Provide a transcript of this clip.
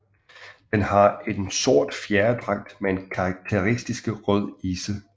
Den har en sort fjerdragt med en karakteristisk rød isse